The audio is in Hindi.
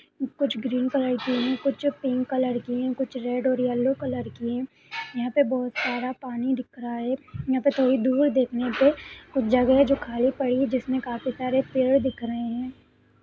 कुछ ग्रीन कलर की है कुछ पिंक कलर की है कुछ रेड एण्ड येलो कलर की है यहां पे बहुत सारा पानी दिख रहा है यहां पे थोड़ी दूर देखने पे कुछ जगह जो खाली पड़ी है जिसमें काफी सारे पेड़ दिख रहे हैं।